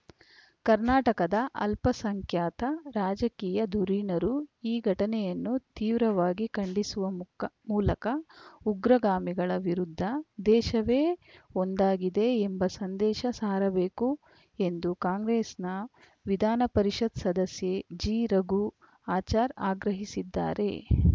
ಕರ್ನಾಟಕದ ಅಲ್ಪಸಂಖ್ಯಾತ ರಾಜಕೀಯ ಧುರೀಣರು ಈ ಘಟನೆಯನ್ನು ತೀವ್ರವಾಗಿ ಖಂಡಿಸುವ ಮುಕ್ಕ್ಕಾ ಮೂಲಕ ಉಗ್ರಗಾಮಿಗಳ ವಿರುದ್ಧ ದೇಶವೇ ಒಂದಾಗಿದೆ ಎಂಬ ಸಂದೇಶ ಸಾರಬೇಕು ಎಂದು ಕಾಂಗ್ರೆಸ್‌ನ ವಿಧಾನಪರಿಷತ್‌ ಸದಸ್ಯೆ ಜಿ ರಘು ಆಚಾರ್‌ ಆಗ್ರಹಿಸಿದ್ದಾರೆ